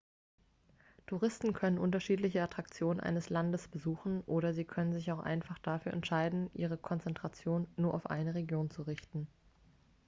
touristen können unterschiedliche attraktionen eines landes besuchen oder sie können sich auch einfach dafür entscheiden ihre konzentration auf nur eine region zu richten